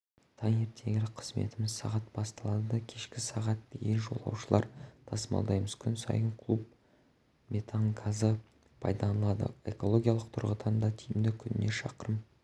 таңертеңгілік қызметіміз сағат басталады кешкі сағат дейін жолаушылар тасымалдаймыз күн сайын куб метан газы пайдаланылады экологиялық тұрғыдан да тиімді күніне шақырым